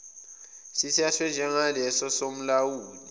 sithathwe njengaleso somlawuli